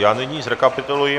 Já nyní zrekapituluji.